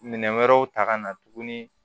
Minɛn wɛrɛw ta ka na tuguni